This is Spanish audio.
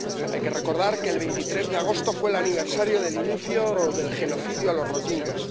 Hay que recordar que el 23 de agosto fue el aniversario del inicio del genocidio de los rohinyás.